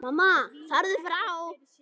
Mamma: Farðu frá!